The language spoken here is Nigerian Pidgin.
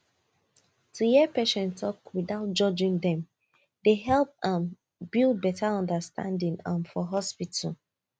to hear patients talk without judging dem dey help um build better understanding um for hospital